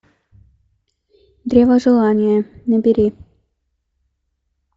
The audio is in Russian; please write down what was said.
древо желания набери